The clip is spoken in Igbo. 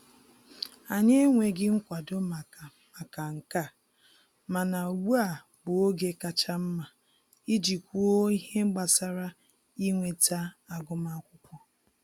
Anyị enweghị nkwado maka maka nke a, mana ugbu a bụ oge kacha mma iji kwuo ihe gbasara inweta agụmakwụkwọ